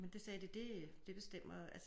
Men det sagde de det det bestemmer altså